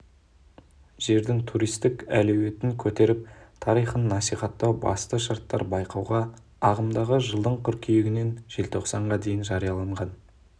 жердің туристік әлеуетін көтеріп тарихын насихаттау басты шарттар байқауға ағымдағы жылдың қыркүйегінен желтоқсанға дейін жарияланған